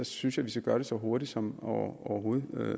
synes jeg vi skal gøre det så hurtigt som overhovedet